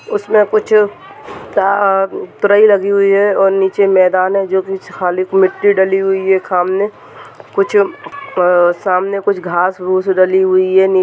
उसमें कुछ दा अ तराई लगी हुई है और नीचे मैदान है जो कुछ खाली मिट्टी डली हुई है सामने कुछ अ सामने कुछ घास रूस डली हुई है नी--